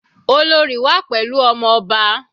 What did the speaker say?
Olorì wà pẹ̀lú ọmọ ọba.